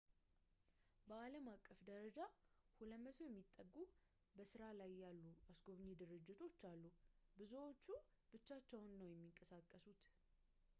በአለምአቀፍ ደረጃ 200 የሚጠጉ በስራ ላይ ያሉ አስጎብኚ ድርጅቶች አሉ ብዙዎቹ ብቻቸውን ነው የሚንቀሳቀሱት